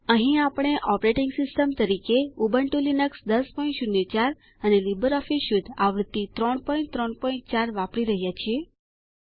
અહીં આપણે operating system તરીકે ઉબુન્ટૂ લીનક્સ ૧૦૦૪ અને લીબર ઓફીસ સ્યુટ આવૃત્તિ ૩૩૪ વાપરી રહ્યા છીએ